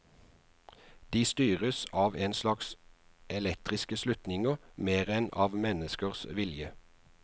De styres av en slags elektriske slutninger mer enn av menneskers vilje.